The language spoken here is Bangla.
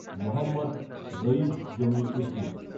মহম্মদ রঈদ জমির উদ্দিন